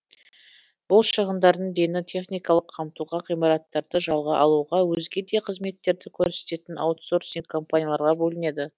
бұл шығындардың дені техникалық қамтуға ғимараттарды жалға алуға өзге де қызметтерді көрсететін аутсорсинг компанияларға бөлінеді